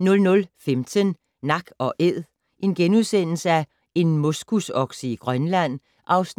00:15: Nak & Æd - en moskusokse i Grønland (3:8)*